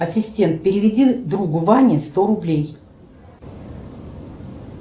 ассистент переведи другу ване сто рублей